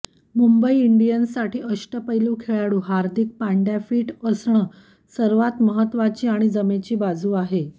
मुंबई इंडियन्ससाठी अष्टपैलू खेळाडू हार्दिक पांड्या फिट असणं सर्वात महत्वाची आणि जमेची बाजू आहे